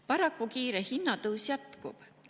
Paraku kiire hinnatõus jätkub.